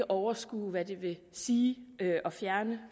overskue hvad det vil sige at fjerne